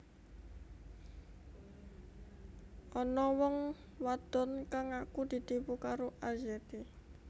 Ana wong wadon kang ngaku ditipu karo Arzetti